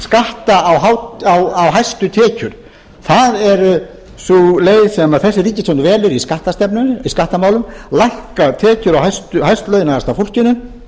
skatta á hæstu tekjur það er sú leið sem þessi ríkisstjórn velur í skattamálum lækka tekjur á hæst launaða fólkinu